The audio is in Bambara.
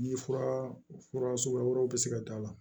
Ni fura fura suguya wɛrɛw bɛ se ka k'a la